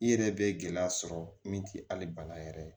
I yɛrɛ bɛ gɛlɛya sɔrɔ min tɛ hali bana yɛrɛ ye